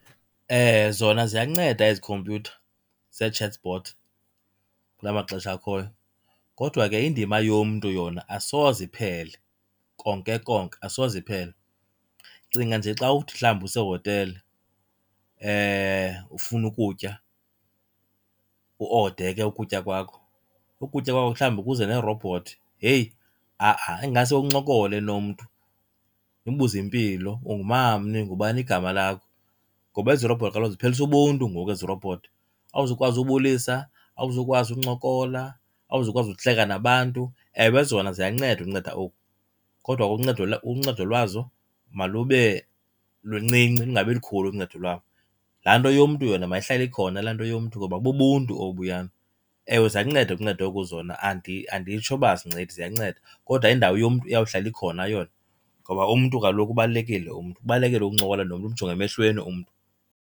Zona ziyanceda ezi khompyutha ze-chatbot kula maxesha akhoyo, kodwa ke indima yomntu yona asoze iphele konke konke, asoze iphele. Cinga nje xa uthi mhlawumbi usehotele ufuna ukutya, uode ke ukutya kwakho ukutya kwakho mhlawumbi kuze nerobhothi, yeyi ha-a. Ingase uncokole nomntu, umbuze impilo, ungumamni ungubani igama lakho. Ngoba ezi robhothi kaloku ziphelisa ubuntu ngoku ezi robhothi. Awuzukwazi ubulisa, awuzukwazi uncokola, awuzukwazi ukuhleka nabantu. Ewe zona ziyanceda unceda oku kodwa ke uncedo , uncedo lwazo malube luncinci lungabi likhulu uncedo lwabo. Laa nto yomntu yona mayihlale ikhona laa nto yomntu ngoba bubuntu obuyana. Ewe ziyanceda unceda oku zona , anditsho uba azincedi ziyanceda, kodwa indawo yomntu iyawuhlala ikhona yona ngoba umntu kaloku ubalulekile umntu, kubalulekile ukuncokola nomntu, umjonge emehlweni umntu.